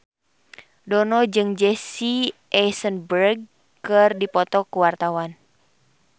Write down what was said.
Dono jeung Jesse Eisenberg keur dipoto ku wartawan